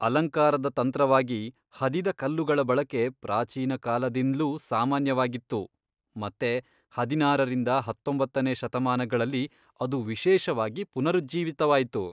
ಅಲಂಕಾರದ ತಂತ್ರವಾಗಿ ಹದಿದ ಕಲ್ಲುಗಳ ಬಳಕೆ ಪ್ರಾಚೀನ ಕಾಲದಿಂದ್ಲೂ ಸಾಮಾನ್ಯವಾಗಿತ್ತು, ಮತ್ತೆ ಹದಿನಾರರಿಂದ ಹತ್ತೊಂಬತ್ತನೇ ಶತಮಾನಗಳಲ್ಲಿ ಅದು ವಿಶೇಷವಾಗಿ ಪುನರುಜ್ಜೀವಿತವಾಯ್ತು.